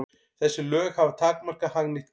Þessi lög hafa takmarkað hagnýtt gildi.